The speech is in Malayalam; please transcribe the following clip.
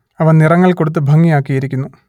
അവ നിറങ്ങൾ കൊടുത്ത് ഭംഗിയാക്കിയിരിക്കുന്നു